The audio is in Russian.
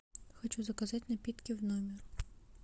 хочу заказать напитки в номер